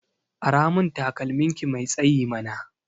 Aramin takalmin ki mai tsayi mana